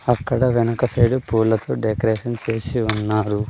అక్కడ వెనక సైడు పూలతో డెకరేషన్ సేసి ఉన్నారు.